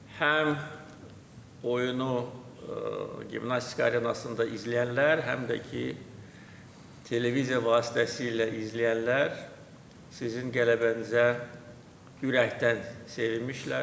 Həm oyunu Gimnastika Arenasında izləyənlər, həm də ki televiziya vasitəsilə izləyənlər sizin qələbənizə ürəkdən sevinmişlər.